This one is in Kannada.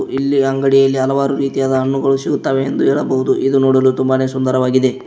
ಇಲ್ಲಿ ಅಂಗಡಿಯಲ್ಲಿ ಹಲವಾರು ರೀತಿಯಾದ ಹಣ್ಣುಗಳು ಸಿಗುತಾವೆ ಎಂದು ಹೇಳಬಹುದು ಇದು ನೋಡಲು ತುಂಬಾನೇ ಸುಂದರವಾಗಿದೆ.